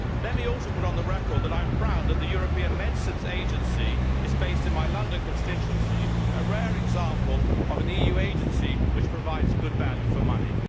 Let me also put on the record that I am proud that the European Medicines Agency is based in my London constituency a rare example of an EU agency which provides good value for money.